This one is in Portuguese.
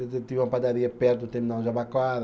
tinha uma padaria perto do terminal de Jabaquara.